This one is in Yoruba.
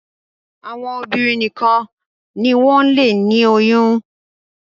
àwọn obìnrin nìkàn ní wón lè ní oyún